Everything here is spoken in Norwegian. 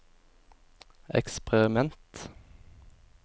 eksperiment